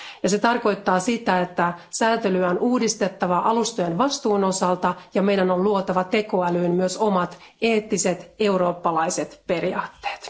Se tarkoittaa sitä, että sääntelyä on uudistettava alustojen vastuun osalta ja meidän on luotava tekoälyyn myös omat eettiset eurooppalaiset periaatteet.